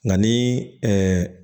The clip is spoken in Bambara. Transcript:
Nka ni